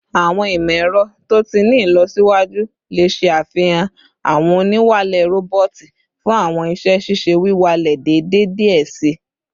Awọn imọ-ẹrọ to ti ni ilọsiwaju le ṣafihan awọn oniwalẹ roboti fun awọn iṣẹ-ṣiṣe wiwalẹ deede diẹ sii